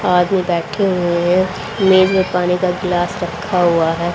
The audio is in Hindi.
आदमी बैठे हुए है नींबू पानी का गिलास रखा हुआ है।